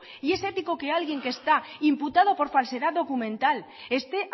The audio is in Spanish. y es ético que alguien que está imputado por falsedad documental esté